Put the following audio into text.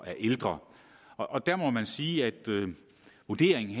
er ældre og der må man sige at vurderingen